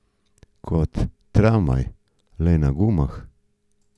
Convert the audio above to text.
Kot tramvaj, le na gumah.